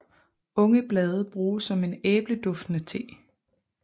Unge blade bruges som en æbleduftende te